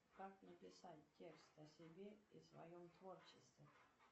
как написать текст о себе и своем творчестве